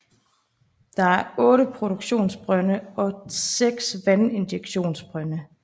Der er 8 produktionsbrønde og 6 vandinjektionsbrønde